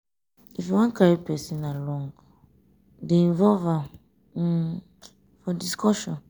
if you wan carry person along dey involve am um for discussion. um